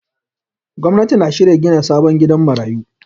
Gwamnati na shirin gina sabon gidan marayu.